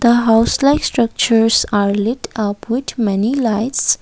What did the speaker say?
the hostel structures are lid a put many lights.